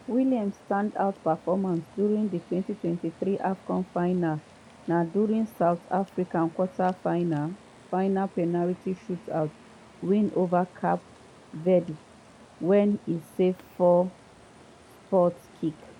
williams standout performance during di 2023 afcon final na during south africa quarter-final penalty shootout win ova cape verde wen e save four spot kicks.